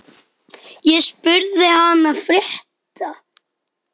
Ég spurði hana frétta.